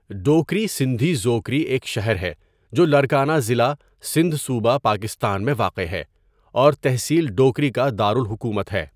ڈوکری سندھی ژوکری ایک شہر ہے جو لاڑکانہ ضلع، سندھ صوبہ، پاکستان میں واقع ہے اور تحصیل ڈوکری کا دار الحکومت ہے.